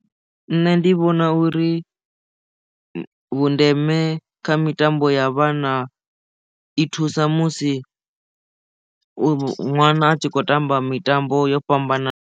Nṋe ndi vhona uri vhundeme kha mitambo ya vhana i thusa musi u ṅwana a tshi khou tamba mitambo yo fhambananaho.